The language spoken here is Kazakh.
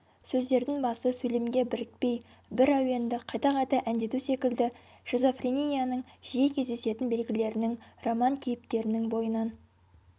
сөздердің басы сөйлемге бірікпей бір әуенді қайта-қайта әндету секілді шизофренияның жиі кездесетін белгілерінің роман кейіпкерінің бойынан